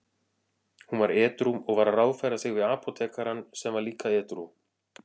Hún var edrú og var að ráðfæra sig við apótekarann sem var líka edrú.